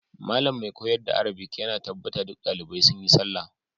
Malam mai koyar da arabic ya na tabbata duk dalibai sun yi sallah.